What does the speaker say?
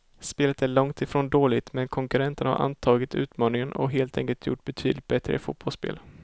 Spelet är långt ifrån dåligt, men konkurrenterna har antagit utmaningen och helt enkelt gjort betydligt bättre fotbollsspel.